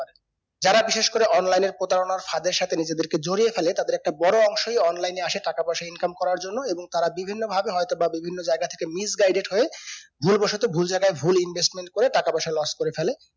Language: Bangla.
যারা বিশেষ করে online এ প্রতারণার ফাঁদের সাথে নিজেদেরকে জড়িয়ে ফেলে তাদের একটা বরো অংশই online এ আসে টাকাপয়সা income করার জন্য এবং তারা বিভিন্ন ভাবে হয়তো বা বিভিন্ন জায়গায় থেকে missguided হয়ে ভুল বসতো ভুল জায়গায় ভুল investment করে টাকা পয়সা loss করে ফেলে